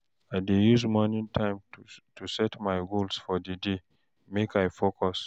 I dey use morning time to set my goals for di day, make I focus.